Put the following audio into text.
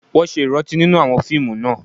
Wọ́n ṣe ìrántí nínú àwọn fíìmù náà